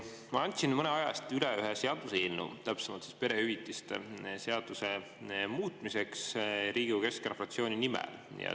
Ma andsin mõne aja eest üle ühe seaduseelnõu perehüvitiste seaduse muutmiseks, Riigikogu keskfraktsiooni nimel.